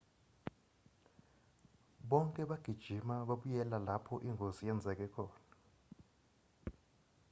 bonke bagijima babuyela lapho ingozi yenzeke khona